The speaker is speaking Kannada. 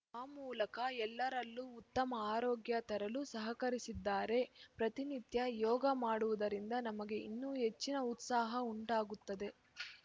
ಆ ಮೂಲಕ ಎಲ್ಲರಲ್ಲೂ ಉತ್ತಮ ಆರೋಗ್ಯ ತರಲು ಸಹಕರಿಸಿದ್ದಾರೆ ಪ್ರತಿನಿತ್ಯ ಯೋಗ ಮಾಡುವುದರಿಂದ ನಮಗೆ ಇನ್ನೂ ಹೆಚ್ಚಿನ ಉತ್ಸಾಹ ಉಂಟಾಗುತ್ತದೆ